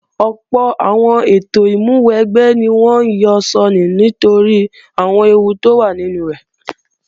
Ọ̀pọ̀ àwọn ètò ìmúwẹgbẹ́ ni wọ́n ó yọ sọnù nítorí àwọn ewú tó wà nínú rẹ̀